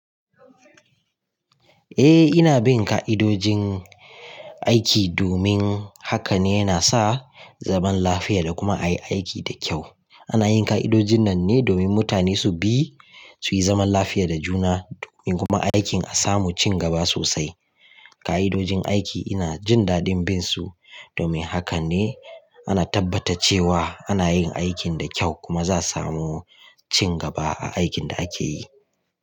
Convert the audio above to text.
Eh ina bin ka'idojin aiki domin haka ne yana sa zaman lafiya da kuma ayi aiki da kyau. Ana yin ka'idojin nan ne domin mutane su bi, suyi zaman lafiya da juna domin kuma aikin a samu cingaba sosai. Ka'idojin aiki ina jin dadin bin su domin haka ne ana tabbata cewa ana yin aikin da kyau kuma za a samu cingaba a aikin da ake yi.